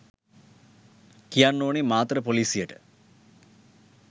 කියන්න ඕනේ මාතර පොලිසියට